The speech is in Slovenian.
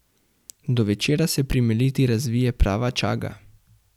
Do večera se pri Meliti razvije prava čaga.